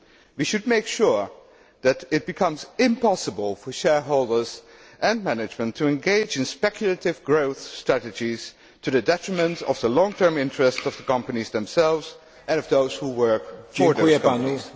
We should make sure that it becomes impossible for shareholders and management to engage in speculative growth strategies to the detriment of the long term interest of the companies themselves and of those who work for these companies.